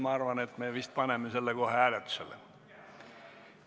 Ma arvan, et me paneme selle kohe hääletusele.